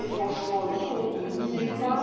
Mais franchement, le compte n'y est pas.